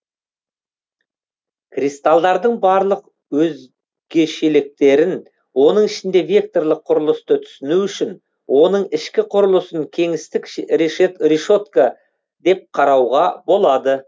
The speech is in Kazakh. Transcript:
кристалдардың барлық өзгешеліктерін оның ішінде векторлық құрылысты түсіну үшін оның ішкі құрылысын кеңістік решетка деп қарауға болады